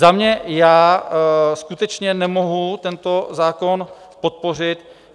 Za mě, já skutečně nemohu tento zákon podpořit.